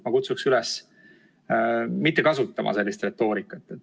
Ma kutsun üles mitte kasutama sellist retoorikat.